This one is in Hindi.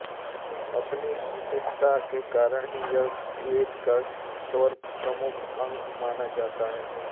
अपनी इस विशेषता के कारण ही यह वेद का सर्वप्रमुख अंग माना जाता है